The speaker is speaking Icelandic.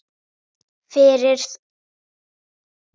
Fyrir það þökkum við honum.